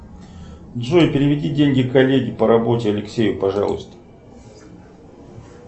джой переведи деньги коллеге по работе алексею пожалуйста